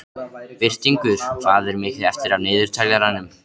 Birtingur, hvað er mikið eftir af niðurteljaranum?